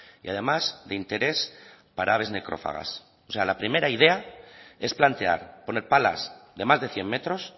y además de interés para aves necrófagas o sea la primera idea es plantear poner palas de más de cien metros